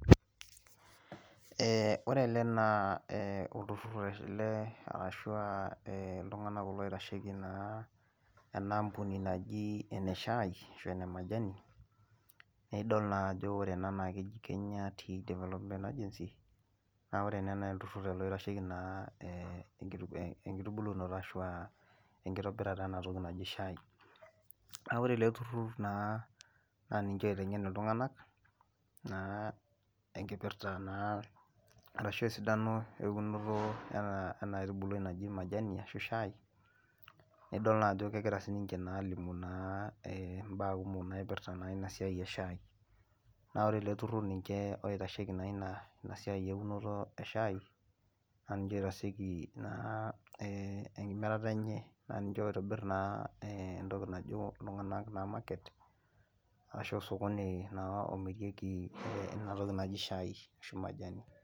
ee ore ele naa oltururur oitasheki ena ampuni naji ene shai ene majani naa keji Kenya Tea Development Agency's , olturur oitasheki inktubulunoto enatoki naji shai, naa niche oitengen iltunganak naa esidano eunoto enaitubului naji majani ashu shai, alimu naa ibaa kumok naipirta naa shai, naa ore eletururur naa niche oitasheki inatoki naaji majani.